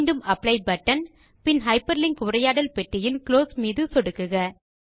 மீண்டும் apply button பின் hyperlink உரையாடல் பெட்டியின் குளோஸ் பட்டன் மீதும் சொடுக்குக